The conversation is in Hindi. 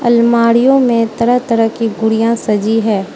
अलमारियों में तरह तरह की गुड़िया सजी हैं।